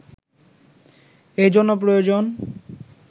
এ জন্য প্রয়োজন